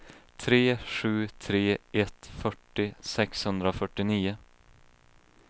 tre sju tre ett fyrtio sexhundrafyrtionio